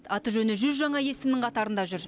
аты жөні жүз жаңа есімнің қатарында жүр